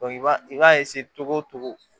i b'a i b'a cogo o cogo